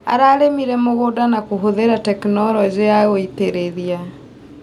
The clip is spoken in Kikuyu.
Ararĩmĩre mũgũnda na kũhũthĩra tekinologĩ ya gũitĩrĩria.